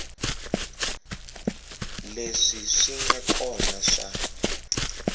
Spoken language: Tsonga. leswi swi nga kona swa